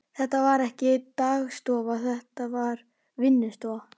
Þetta var ekki dagstofa, þetta var vinnustofa.